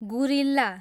guerrilla